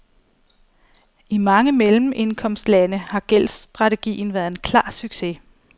I mange mellemindkomstlande har gældsstrategien været en klar succes.